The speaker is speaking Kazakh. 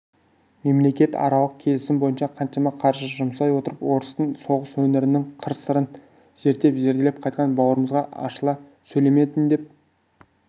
мемлекетаралық келісім бойынша қаншама қаржы жұмсай отырып орыстың соғыс өнерінің қыр-сырын зерттеп зерделеп қайтқан бауырымызға ашыла сөйлемедің деп